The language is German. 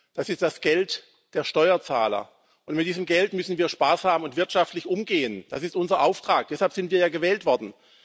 Das ist das Geld der Steuerzahler, und mit diesem Geld müssen wir sparsam und wirtschaftlich umgehen. Das ist unser Auftrag, deshalb sind wir ja gewählt worden.